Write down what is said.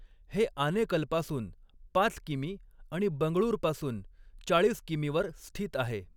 हे आनेकलपासून पाच किमी आणि बंगळुरपासून चाळीस किमीवर स्थित आहे.